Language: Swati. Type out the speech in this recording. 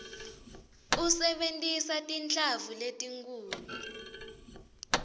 usebentisa tinhlamvu letinkhulu